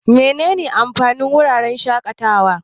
Menene amfanin wuraren shaƙatawa?